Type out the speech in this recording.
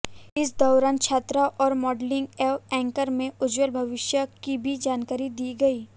इस दौरान छात्राओं को मॉडलिंग व एंकर में उज्ज्वल भविष्य की भी जानकारी दी गई